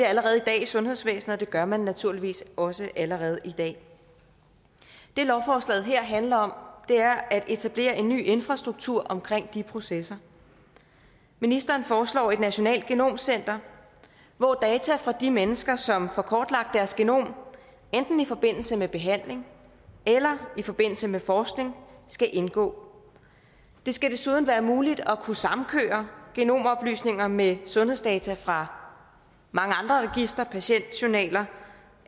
allerede i dag i sundhedsvæsenet og det gør man naturligvis også allerede i dag det lovforslaget her handler om er at etablere en ny infrastruktur omkring de processer ministeren foreslår et nationalt genomcenter hvor data fra de mennesker som får kortlagt deres genom enten i forbindelse med behandling eller i forbindelse med forskning skal indgå det skal desuden være muligt at kunne samkøre genomoplysninger med sundhedsdata fra mange andre registre patientjournaler